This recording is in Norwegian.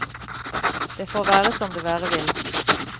Det får være som det være vil.